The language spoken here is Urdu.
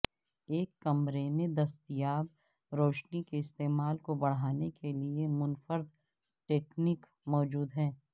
ایک کمرے میں دستیاب روشنی کے استعمال کو بڑھانے کے لئے منفرد تکنیک موجود ہیں